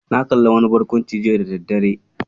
Na kalli wani barkwanci jiya da daddare.